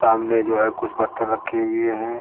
सामने जो है कुछ बर्तन रखे हुए हैं।